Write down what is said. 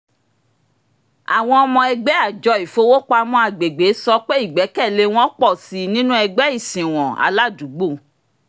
àwọn ọmọ ẹgbẹ́ àjọ ìfowópamọ́ agbègbè sọ pé ìgbẹ́kẹ̀lé wọn pọ̀ sí i nínú ẹgbẹ́ ìsìnwọ̀n aládùúgbò